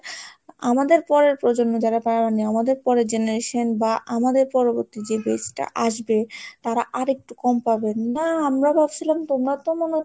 আমাদের পরের প্রজন্ম যারা পাওনি আমাদের পরের generation বা আমাদের পরবর্তী যে age টা আসবে তারা আরেকটু কম পাবেন, না আমরা ভাবছিলাম তোমরা তো মনে হয়